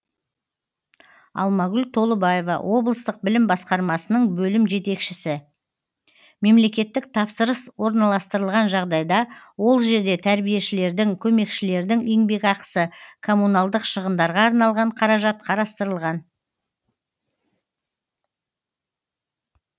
алмагүл толыбаева облыстық білім басқармасының бөлім жетекшісі мемлекеттік тапсырыс орналастырылған жағдайда ол жерде тәрбиешілердің көмекшілердің еңбекақысы коммуналдық шығындарға арналған қаражат қарастырылған